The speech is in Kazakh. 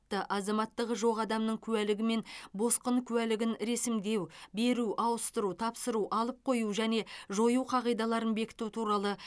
азаматтығы жоқ адамның куәлігі мен босқын куәлігін ресімдеу беру ауыстыру тапсыру алып қою және жою қағидаларын бекіту туралы